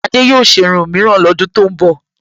Adé yóò ṣe irun míìran lọ́dún tó ń bọ̀